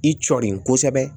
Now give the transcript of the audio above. I cɔlen kosɛbɛ